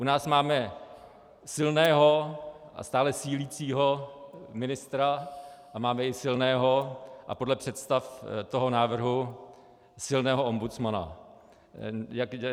U nás máme silného a stále sílícího ministra a máme i silného a podle představ toho návrhu silného ombudsmana.